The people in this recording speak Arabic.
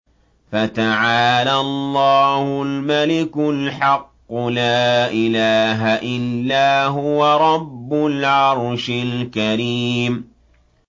فَتَعَالَى اللَّهُ الْمَلِكُ الْحَقُّ ۖ لَا إِلَٰهَ إِلَّا هُوَ رَبُّ الْعَرْشِ الْكَرِيمِ